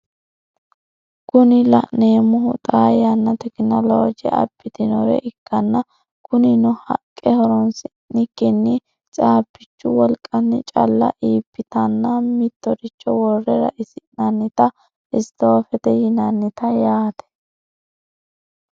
Kuni la'neemohu xaa yanna tekinoloje abitinore ikkanna kunino haqqe horonsi'nikinni cabbichu wolqanni calla iibitanna mitoricho worre ra"isi'nanniti stoofete yinannite yaate.